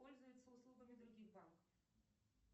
пользуется услугами других банков